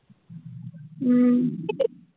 উম